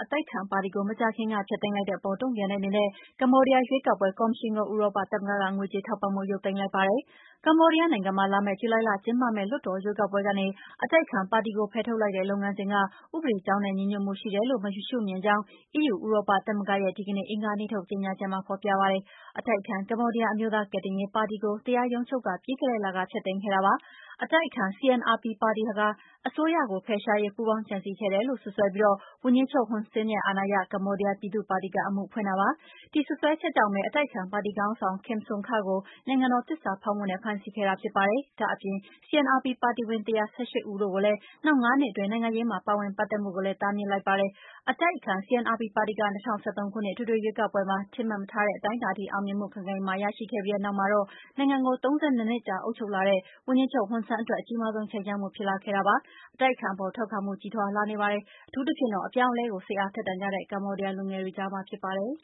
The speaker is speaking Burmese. အတိုက်အခံ ပါတီကို မကြာခင်က ဖျက်သိမ်းလိုက်တဲ့ အပေါ် တုံ့ပြန်တဲ့ အနေနဲ့ ကမ္ဘောဒီးယား ရွေးကောက်ပွဲ ကော်မရှင်ကို ဥရောပ သမဂ္ဂက ငွေကြေးထောက်ပံ့မှု ရုပ်သိမ်းလိုက်ပါတယ်။ ကမ္ဘောဒီးယား နိုင်ငံမှာ လာမယ့် ဇူလိုင်လ ကျင်းပမယ့် လွှတ်တော် ရွေးကောက်ပွဲကနေ အတိုက်အခံ ပါတီကို ဖယ်ထုတ်လိုက်တဲ့ လုပ်ငန်းစဉ်က ဥပဒေကြောင်းနဲ့ ညီညွတ်မှု ရှိတယ်လို့ မရှုမြင်ကြောင်း EU ဥရောပ သမဂ္ဂရဲ့ ဒီကနေ့ အင်္ဂါနေ့ထုတ် ကြေညာချက်မှာ ဖော်ပြပါတယ်။ အတိုက်အခံ ကမ္ဘောဒီးယား အမျိုးသား ကယ်တင်ရေး ပါတီကို တရားရုံးချုပ်က ပြီးခဲ့တဲ့လက ဖျက်သိမ်းခဲ့တာ ဖြစ်ပါတယ်။ အတိုက်အခံ CNRP ပါတီဟာ အစိုးရကို ဖယ်ရှားရေး ပူးပေါင်းကြံစည်ခဲ့တယ်လို့ စွပ်စွဲပြီး ဝန်ကြီးချုပ် Hun Sen ရဲ့ အာဏာရ ကမ္ဘောဒီးယား ပြည်သူ့ ပါတီက အမှုဖွင့်တာပါ။ ဒီစွပ်စွဲချက်ကြောင့်ဘဲ အတိုက်အခံ ပါတီ ခေါင်းဆောင် Kem Sokha ကို နိုင်ငံတော် သစ္စာဖောက်မှုနဲ့ ဖမ်းဆီးခဲ့တာ ဖြစ်ပါတယ်။ ဒါ့အပြင် CNRP ပါတီဝင် ၁၁၈ ဦးတို့ကိုလည်း နောက် ၅ နှစ် အတွင်း နိုင်ငံရေးမှာ ပါဝင်ပတ်သက်မှုကိုလည်း တားမြစ်လိုက်ပါတယ်။ အတိုက်အခံ CNRP ပါတီက ၂၀၁၃ ခုနှစ် အထွေထွေ ရွေးကောက်ပွဲမှာ ထင်မှတ်မထားတဲ့ အတိုင်းအတာအထိ အောင်မြင်မှု ခိုင်ခိုင်မာမာ ရရှိခဲ့ပြီးနောက်မှာတော့ နိုင်ငံကို ၃၂ နှစ်ကြာ အုပ်ချုပ်လာတဲ့ ဝန်ကြီးချုပ် ဟွန်ဆန်း အတွက် အကြီးမားဆုံး ခြိမ်းခြောက်မှု ဖြစ်လာခဲ့တာပါ။အတိုက်အခံ အပေါ် ထောက်ခံမှုက ကြီးထွားလာနေတာပါ။ အထူးသဖြင့်တော့ အပြောင်းအလဲကို စိတ်အားထက်သန်နေကြတဲ့ ကမ္ဘောဒီးယား လူငယ်တွေကြားမှာ ဖြစ်ပါတယ်